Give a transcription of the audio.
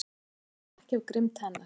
Það stafar þó ekki af grimmd hennar.